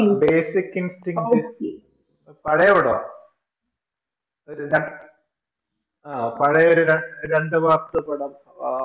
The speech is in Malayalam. Basic in things പഴയ പടവ പഴയ ഒരു രണ്ടുമാസത്തെ പടം